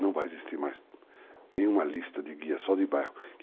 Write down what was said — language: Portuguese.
Não vai existir mais nenhuma lista de guia, só de bairro.